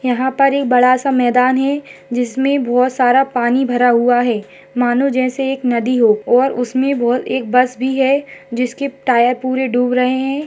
यहां पर यह बड़ा सा मैदान है जिसमें बहुत सारा पानी भरा हुआ है मानो जैसे एक नदी हो और उसमें एक बस भी है जिसके टायर पूरे डूब रहे हैं।